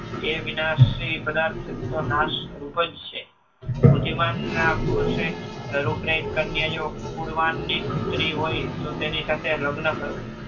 એ વિનાશી પદાર્થ તો નાશ રૂપ જ છે. બુદ્ધિમાન પુરુષે રૂપરેટ કન્યા જો ફૂલવાનની પુત્રી હોય તો તેની સાથે લગ્ન કરવું